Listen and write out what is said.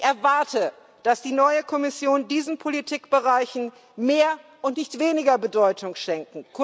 Ich erwarte, dass die neue Kommission diesen Politikbereichen mehr und nicht weniger Bedeutung schenkt.